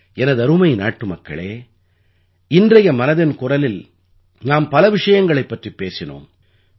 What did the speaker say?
எனதருமை நாட்டுமக்களே இன்றைய மனதின் குரலில் நாம் பல விஷயங்களைப் பற்றிப் பேசினோம்